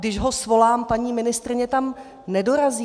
Když ho svolám, paní ministryně tam nedorazí.